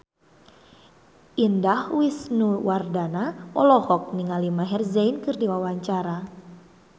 Indah Wisnuwardana olohok ningali Maher Zein keur diwawancara